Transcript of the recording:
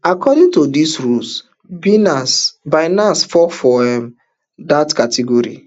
according to dis rules beenance binance fall for um dat category